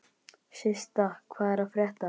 Systa, hvað er að frétta?